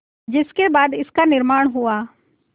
जिसके बाद इसका निर्माण हुआ